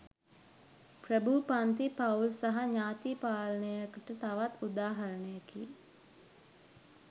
ප්‍රභූ පංති පවුල් සහ ඥාති පාලනයකට තවත් උදාහරණයකි